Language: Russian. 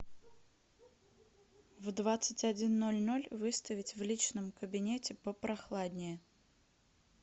в двадцать один ноль ноль выставить в личном кабинете попрохладнее